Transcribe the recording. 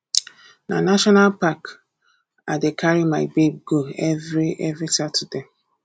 na national park i dey carry my babe go every every saturday